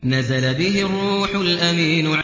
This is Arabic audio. نَزَلَ بِهِ الرُّوحُ الْأَمِينُ